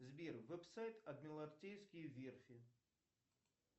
сбер веб сайт адмиралтейские верфи